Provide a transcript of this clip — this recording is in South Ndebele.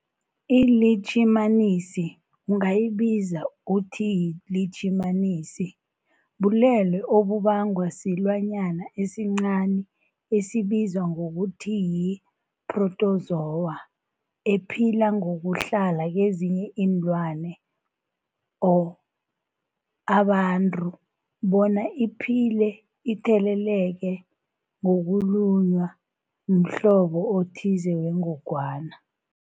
ILitjhimanisi ungayibiza uthi yilitjhimanisi, bulwelwe obubangwa silwanyana esincani esibizwa ngokuthiyi-phrotozowa ephila ngokuhlala kezinye iinlwana, abantu bona iphile itheleleka ngokulunywa mhlobo othize wengogwana.